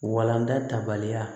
Walanda tabaliya